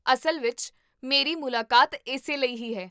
ਅਸਲ ਵਿੱਚ, ਮੇਰੀ ਮੁਲਾਕਾਤ ਇਸੇ ਲਈ ਹੀ ਹੈ